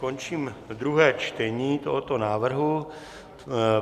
Končím druhé čtení tohoto návrhu.